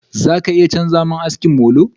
Za ka iya chanza mun aski molo?